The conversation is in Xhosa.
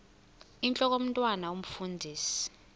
intlok omntwan omfundisi